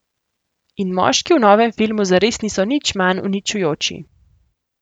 In moški v novem filmu zares niso nič manj uničujoči.